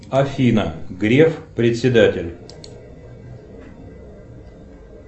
афина греф председатель